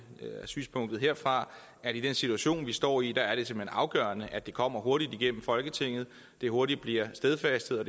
er synspunktet herfra at i den situation vi står i er det simpelt hen afgørende at det kommer hurtigt igennem folketinget at det hurtigt bliver stadfæstet og